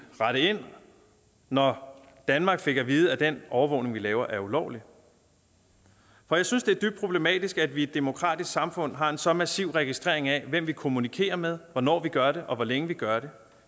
rette ind når danmark fik at vide at den overvågning vi laver er ulovlig for jeg synes det er dybt problematisk at vi i et demokratisk samfund har en så massiv registrering af hvem vi kommunikerer med hvornår vi gør det og hvor længe vi gør det